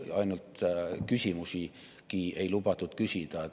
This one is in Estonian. Küsimusigi ei lubatud küsida.